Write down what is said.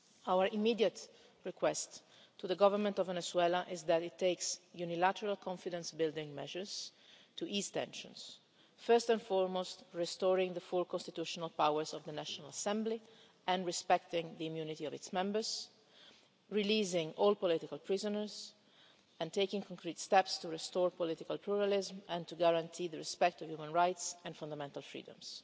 worse. Our immediate request to the Government of Venezuela is that it takes unilateral confidence building measures to ease tensions, first and foremost by restoring the full constitutional powers of the National Assembly and respecting the immunity of its members, releasing all political prisoners and taking concrete steps to restore political pluralism and guarantee respect for human rights and fundamental freedoms.